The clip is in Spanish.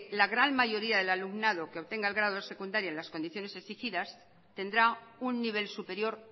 la gran mayoría del alumnado que obtenga el grado secundario en las condiciones exigidas tendrá un nivel superior